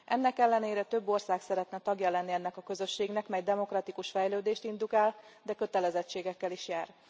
Ennek ellenére több ország szeretne tagja lenni ennek a közösségnek, mely demokratikus fejlődést indukál, de kötelezettségekkel is jár.